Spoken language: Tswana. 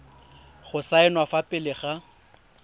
go saenwa fa pele ga